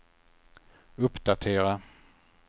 uppdatera